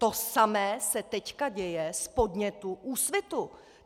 To samé se teď děje z podnětu Úsvitu.